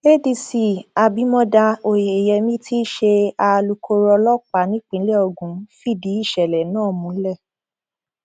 adc abimodá oyeyèmí tí í ṣe alukoro ọlọpàá nípìnlẹ ogun fìdí ìṣẹlẹ náà múlẹ